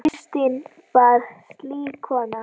Kristín var slík kona.